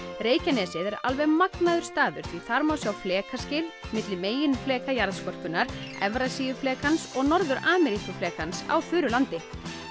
Reykjanesið er alveg magnaður staður því þar má sjá milli meginfleka jarðskorpunnar og Norður Ameríkuflekans á þurru landi